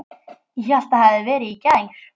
Ég hélt það hefði verið í gær.